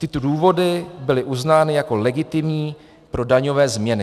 Tyto důvody byly uznány jako legitimní pro daňové změny.